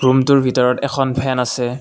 ৰুমটোৰ ভিতৰত এখন ফেন আছে।